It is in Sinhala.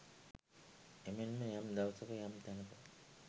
එමෙන්ම යම් දවසෙක යම් තැනෙක